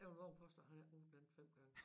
Jeg vil vove at påstå han har ikke brugt den 5 gange